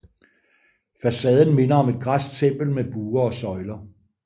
Facaden minder om et græsk tempel med buer og søjler